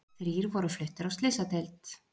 Þrír voru fluttir á slysadeild